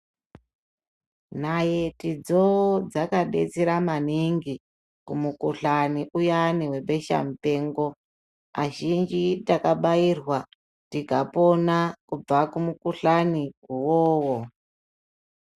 Nayitidzo dzakabetsera maningi kumukuhlani uyani webeshamupengo. Azhinji takabairwa tikapona kubva kumukuhlani iwowo.